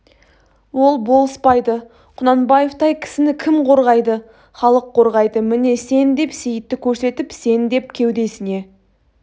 ол болыспайды кунанбаевтай кісіні кім қорғайды халық қорғайды міне сен деп сейітті көрсетіп сен деп кеудесіне